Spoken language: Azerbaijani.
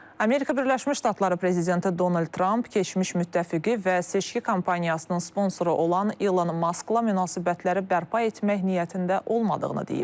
Amerika Birləşmiş Ştatları prezidenti Donald Tramp keçmiş müttəfiqi və seçki kampaniyasının sponsoru olan Elon Maskla münasibətləri bərpa etmək niyyətində olmadığını deyib.